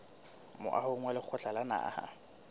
moahong wa lekgotla la naha